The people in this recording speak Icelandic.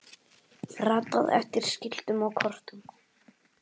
ratað eftir skiltum og kortum